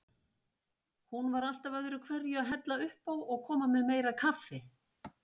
Hún var alltaf öðruhverju að hella uppá og koma með meira kaffi.